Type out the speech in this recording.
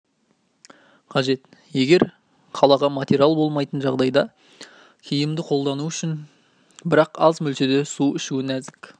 қажет егер қалқаға материал болмайтын жағдайда киімді қолдану жиі бірақ аз мөлшерде су ішу нәзік